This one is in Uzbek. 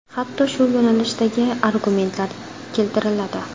Hatto shu yo‘nalishdagi argumentlar keltiriladi.